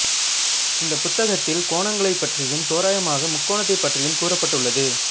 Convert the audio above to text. இந்த புத்தகத்தில் கோணங்களைப் பற்றியும் தோராயமாக முக்கோணத்தைப் பற்றியும் கூறப்பட்டுள்ளது